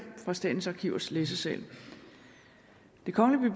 fra statens arkivers læsesal det kongelige